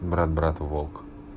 брат брат волк